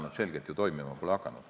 Nad selgelt ju toimima pole hakanud.